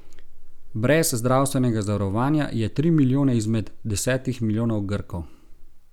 Brez zdravstvenega zavarovanja je tri milijone izmed desetih milijonov Grkov.